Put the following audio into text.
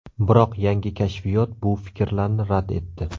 Biroq yangi kashfiyot bu fikrlarni rad etdi.